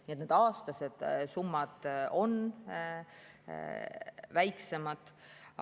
Nii et need aastased summad on väiksemad.